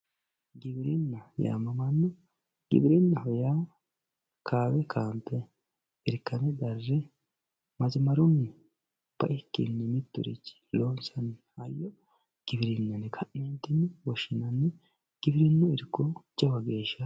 giwirinna yaamamano giwirinnaho yaa kaambe kaambe irkane darre masimarunni baikkinni mitturichi loonsanniha giwirinaho yine ka'ne woshshianni giwirinnu irko jawa geeshsha